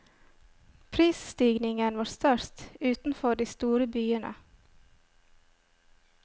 Prisstigningen var størst utenfor de store byene.